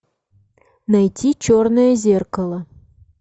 найти черное зеркало